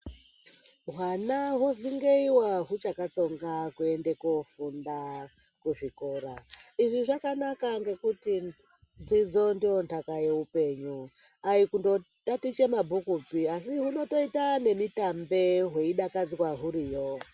Hwana hozingeyiwa huchakatsonga kuende koofunda kuzvikora. Izvi zvakanaka ngekuti dzidzo ndoo ntaka yeupenyu. Aikundotatiche mabhukupi, asi hunotoita nemitambe hweidakadzwa huriyo.